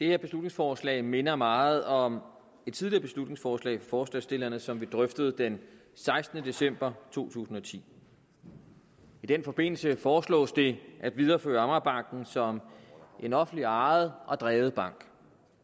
her beslutningsforslag minder meget om et tidligere beslutningsforslag fra forslagsstillerne som vi drøftede den sekstende december to tusind og ti i den forbindelse foreslås det at videreføre amagerbanken som en offentligt ejet og drevet bank